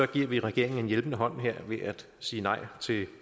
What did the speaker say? giver vi regeringen en hjælpende hånd her ved at sige nej til